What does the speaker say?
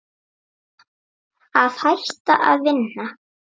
Að hætta að vinna?